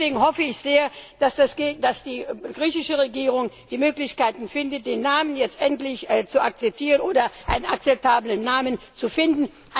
Deswegen hoffe ich sehr, dass die griechische Regierung die Möglichkeiten findet, den Namen jetzt endlich zu akzeptieren oder einen akzeptablen Namen zu finden.